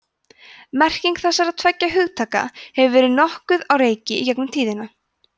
merking þessara tveggja hugtaka hefur verið nokkuð á reiki í gegnum tíðina